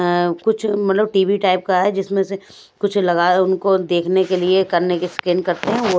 अं कुछ मतलब TV type का है जिसमें से कुछ लगा उनको देखने के लिए करने के स्कैन करते हैं।